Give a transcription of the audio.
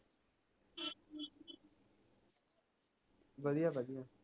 ਵਧੀਆ ਵਧੀਆ